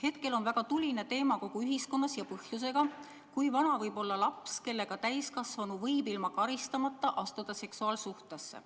Hetkel on kogu ühiskonnas väga tuline teema – ja põhjusega –, kui vana võib olla laps, kellega täiskasvanu võib ilma karistamata astuda seksuaalsuhtesse.